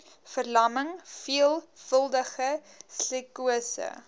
verlamming veelvuldige sklerose